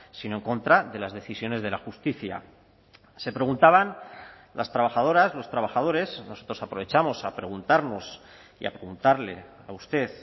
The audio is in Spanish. sino en contra de las decisiones de la justicia se preguntaban las trabajadoras los trabajadores nosotros aprovechamos a preguntarnos y a preguntarle a usted